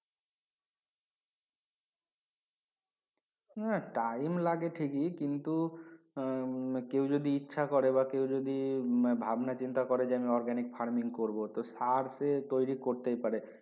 হ্যা time লাগে ঠিকি কিন্তু আহ কেও যদি ইচ্ছা করে বা কেও যদি ভাব না চিন্তা যে আমি organic farming তো করব সার সে তৈরি করতেই পারে